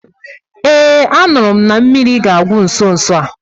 Ee, a nụrụ m na mmiri ga àgwụ nso nso a